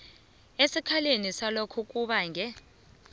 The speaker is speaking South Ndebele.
esikhaleni salokho kubange